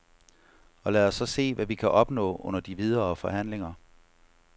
Og lad os så se, hvad vi kan opnå under de videre forhandlinger.